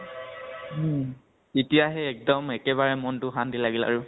উম । তেতিয়াহে একদম একেবাৰে মনতো শান্তি লাগিল আৰু ।